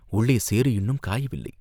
உள்ளே சேறு இன்னும் காயவில்லை.